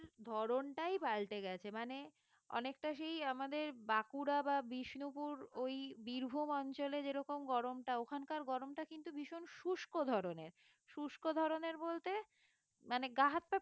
ধরণটাই পাল্টে গেছে মানে অনেকটা সেই আমাদের বাঁকুড়া বা বিষ্ণুপুর ওই বীরভূম অঞ্চলে যেরকম গরমটা ওখানকার গরমটা কিন্তু ভীষণ শুষ্ক ধরনের শুষ্ক ধরনের বলতে মানে গা-হাত-পা